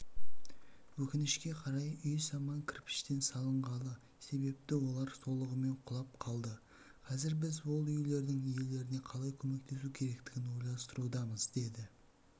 өкінішке қарай үй саман кірпіштен салынғаны себепті олар толығымен құлап қалды қазір біз ол үйлердің иелеріне қалай көмектесу керектігін ойластырудамыз деді